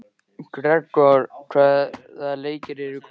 Gregor, hvaða leikir eru í kvöld?